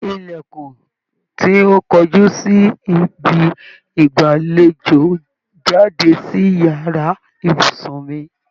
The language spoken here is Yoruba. Ilẹkun tí o kojú si ibi ìgbàléjò jáde sí yàrá ibùsùn mi